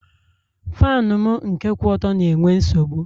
Faanụ m nke kwụ ọtọ na-enwe nsogbụ